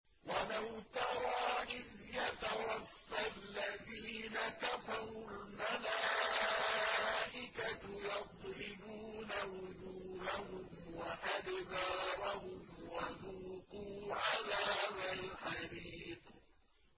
وَلَوْ تَرَىٰ إِذْ يَتَوَفَّى الَّذِينَ كَفَرُوا ۙ الْمَلَائِكَةُ يَضْرِبُونَ وُجُوهَهُمْ وَأَدْبَارَهُمْ وَذُوقُوا عَذَابَ الْحَرِيقِ